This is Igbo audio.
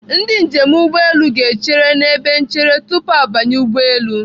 Ndị njem ụgbọelu ga-echere n'ebe nchere tupu ha abanye ụgbọelu.